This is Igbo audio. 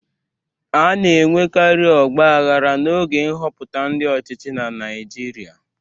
A na-enwekari ọgbaghara n'oge nhọpụta ndi ochichi na Naịjirịa.